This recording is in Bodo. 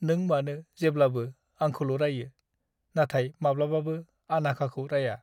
नों मानो जेब्लाबो आंखौल' रायो, नाथाय माब्लाबाबो आनाघाखौ राया?